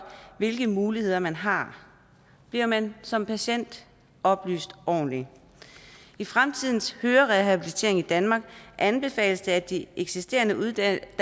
hvilke muligheder man har bliver man som patient oplyst ordentligt i fremtidens hørerehabilitering i danmark anbefales det at de eksisterende uddannelser